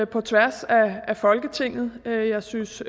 på tværs af folketinget jeg synes